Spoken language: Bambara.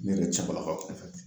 Ne yɛrɛ cɛbalakaw fɛ